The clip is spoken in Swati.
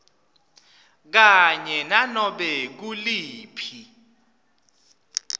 kanye nanobe nguliphi